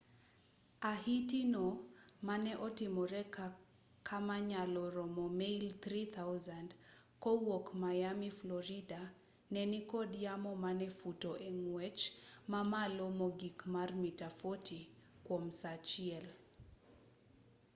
ahiti no mane otimore kama nyalo romo mail 3,000 kowuok miami florida ne nikod yamo mane futo e ng'wech mamalo mogik mar mita 40 kwom saa achiel